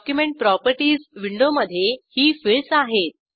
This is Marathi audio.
डॉक्युमेंट प्रॉपर्टीज विंडोमधे ही फिल्डस आहेत